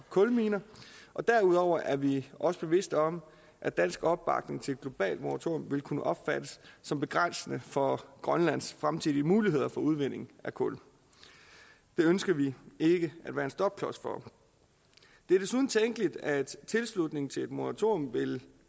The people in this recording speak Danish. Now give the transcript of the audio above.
kulminer og derudover er vi også bevidste om at dansk opbakning til et globalt moratorium vil kunne opfattes som begrænsende for grønlands fremtidige muligheder for udvinding af kul det ønsker vi ikke at være en stopklods for det er desuden tænkeligt at tilslutning til et moratorium vil